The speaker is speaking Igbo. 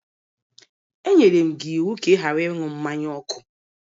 E enyere gị iwu ka ị ghara ịṅụ mmanya ọkụ!